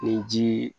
Ni ji